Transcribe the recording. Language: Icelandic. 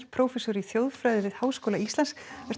prófessor í þjóðfræði við Háskóla Íslands